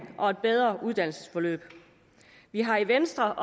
og et bedre uddannelsesforløb vi har i venstre